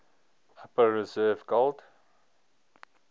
upper reserve gold